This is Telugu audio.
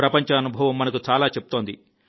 ప్రపంచ అనుభవం మనకు చాలా చెబుతోంది